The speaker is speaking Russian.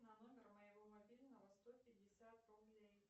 на номер моего мобильного сто пятьдесят рублей